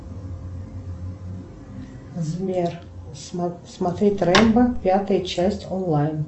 сбер смотреть рембо пятая часть онлайн